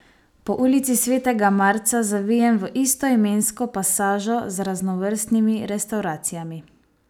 Po ulici Svetega Marca zavijem v istoimensko pasažo z raznovrstnimi restavracijami.